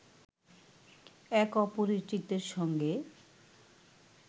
এক অপরিচিতের সঙ্গে